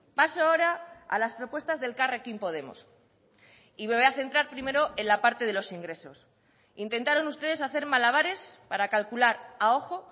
paso ahora a las propuestas de elkarrekin podemos y me voy a centrar primero en la parte de los ingresos intentaron ustedes hacer malabares para calcular a ojo